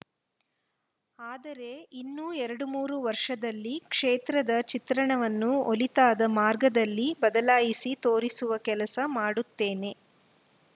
ಆದರೆ ಇನ್ನು ಎರಡ್ಮೂರು ವರ್ಷದಲ್ಲಿ ಕ್ಷೇತ್ರದ ಚಿತ್ರಣವನ್ನು ಒಳಿತಾದ ಮಾರ್ಗದಲ್ಲಿ ಬದಲಾಯಿಸಿ ತೋರಿಸುವ ಕೆಲಸ ಮಾಡುತ್ತೇನೆ